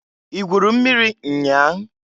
I gwuru mmiri nnya a?